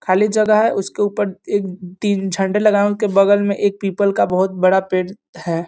खाली जगह है उसके ऊपर एक एक तीन झंडे लगे हैं उनके बगल मे एक पीपल का एक। बहुत बड़ा पेड़ है।